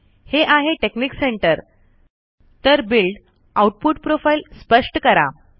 हे आहे technique centre तर बिल्ड आउटपुट प्रोफाइल स्पष्ट करा